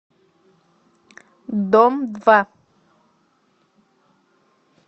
дом два